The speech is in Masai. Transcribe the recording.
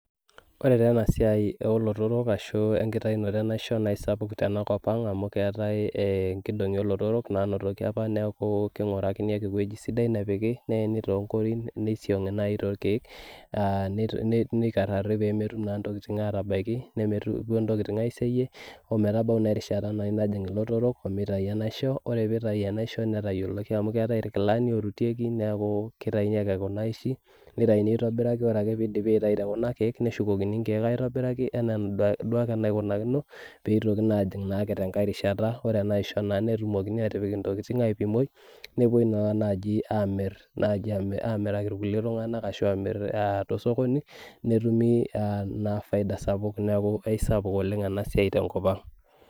Ore taa enasiai olotorok ashu enkitayunoto enaisho, naisapuk tenakop ang amu keetae inkolong'i olotorok nanotoki apa neeku king'urakini ake ewueji sidai nepiki, neeni tonkorin, nisiang'i nai torkeek, nikarrari pemetum naa ntokiting atabaiki, nemetum intokiting aiseyie, ometabau naa erishata nai najing ilotorok omitayu enaisho, ore pitayu enaisho netayioloki amu keetae irkilani orutieki neeku kitayuni ake kuna aishi, nitayuni aitobiraki ore ake pidipi aitayu tekuna keek, neshukokini inkeek aitobiraki enaa duo ake enaikunakino, pitoki naanjing naake tenkae rishata. Ore enaisho naa netumokini atipik intokiting aipimoi, nepoi naa naji amir naji amiraki irkulie tung'anak ashu amir tosokoni, netumi naa faida sapuk. Neeku aisapuk oleng enasiai tenkop ang.